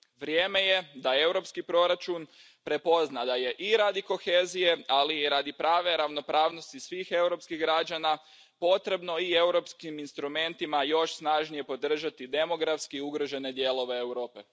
Vrijeme je da europski proračun prepozna da je i radi kohezije, ali i radi prave ravnopravnosti svih europskih građana, potrebno i europskim instrumentima još snažnije podržati demografski ugrožene dijelove Europe.